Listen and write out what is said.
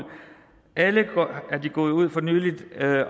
alle er de gået ud for nylig